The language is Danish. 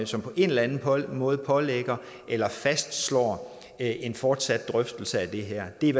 som på en eller anden måde pålægger eller fastslår en fortsat drøftelse af det her det er